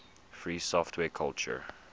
free software culture